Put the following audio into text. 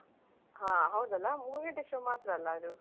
ಹಾ ಹೌದಲ್ಲ ಮೂರೂ ಗಂಟೆ show ಮಾತ್ರಲ್ಲ ಅದು.